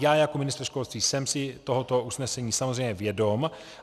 Já jako ministr školství jsem si tohoto usnesení samozřejmě vědom.